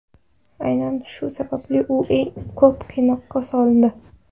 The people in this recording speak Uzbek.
Aynan shu sababli u eng ko‘p qiynoqqa solindi.